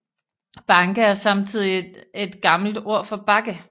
Banke er samtidigt et gammel ord for bakke